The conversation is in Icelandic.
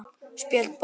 Spjöld bókar